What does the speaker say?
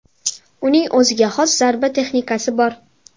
Uning o‘ziga xos zarba texnikasi bor.